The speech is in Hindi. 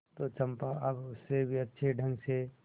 तो चंपा अब उससे भी अच्छे ढंग से